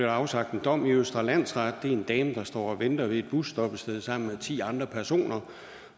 afsagt en dom i østre landsret det var en dame der stod og ventede ved et busstoppested sammen med ti andre personer